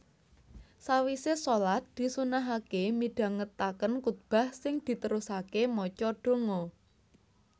Sawisé shalat disunnahaké midhangetaken kutbah sing diterusaké maca donga